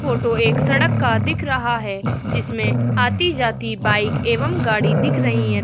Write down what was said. Photo एक सड़क का दिख रहा है जिसमें आती जाती बाइक एवं गाड़ी दिख रही हैं।